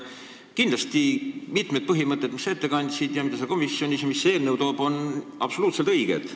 Kindlasti mitmed põhimõtted, mis sa ette kandsid ja komisjonis ütlesid selle kohta, mida see eelnõu toob, on absoluutselt õiged.